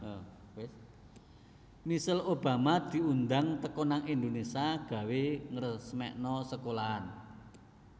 Michelle Obama diundang teko nang Indonesia gawe ngresmikno sekolahan